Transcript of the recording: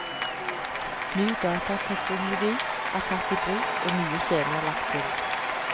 Ny datateknologi er tatt i bruk og nye scener lagt til.